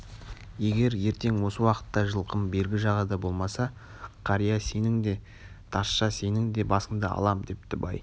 егер ертең осы уақытта жылқым бергі жағада болмаса қария сенің де тазша сенің де басыңды алам депті бай